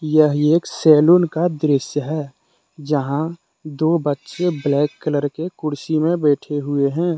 यह एक सैलून का दृश्य है जहां दो बच्चे ब्लैक कलर के कुर्सी में बैठे हुए हैं।